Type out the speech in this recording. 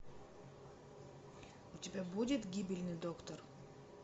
у тебя будет гибельный доктор